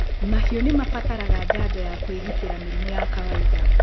Mahiũ nĩmabataraga njanjo ya kũĩgitĩra mĩrimũ ya kawainda.